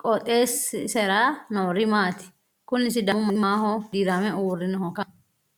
qooxeessisera noori maati ? kuni sidaamu manni maaho dirame uurrinohoikka